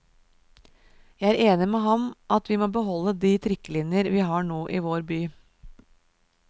Jeg er enig med ham i at vi må beholde de trikkelinjer vi har nå i vår by.